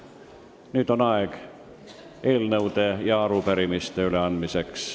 Nüüd on aeg eelnõude ja arupärimiste üleandmiseks.